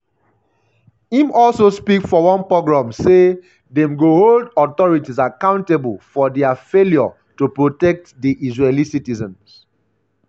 im um also speak for one pogrom say dem go hold "authorities accountable for um dia failure to protect di israeli citizens".